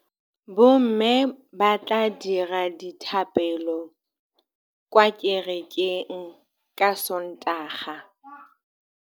Bommê ba tla dira dithapêlô kwa kerekeng ka Sontaga.